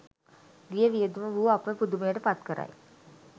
ගිය වියදම වුව අප පුදුමයට පත් කරයි.